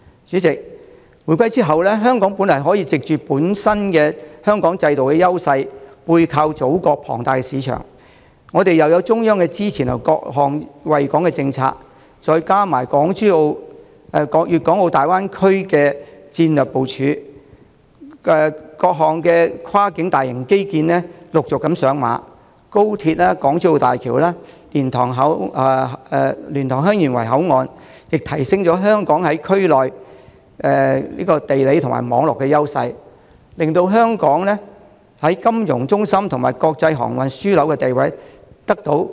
主席，回歸後，香港本來可藉着本身的制度優勢，祖國龐大的市場，中央各項惠港政策的支持，再加上國家粵港澳大灣區的戰略部署，各項陸續上馬的跨境大型基建，以及高鐵、港珠澳大橋、蓮塘/香園圍口岸對我們在區內地理和網絡優勢的提升，進一步加強我們國際金融中心和國際航運樞紐的地位。